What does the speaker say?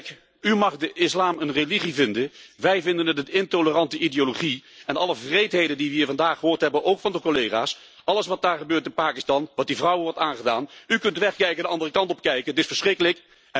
Kijk, u mag de islam een religie vinden, wij vinden het een intolerante ideologie en alle wreedheden die we hier vandaag gehoord hebben, ook van de collega's, alles wat daar gebeurt in Pakistan, wat die vrouwen wordt aangedaan u kunt wegkijken, de andere kant op kijken, maar het is verschrikkelijk.